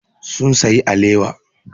Sun sayi alewa.